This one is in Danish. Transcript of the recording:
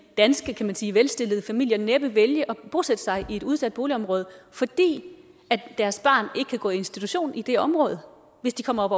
danske kan man sige velstillede familier næppe vælge at bosætte sig i en udsat boligområde fordi deres barn ikke kan gå i institution i det område hvis de kommer op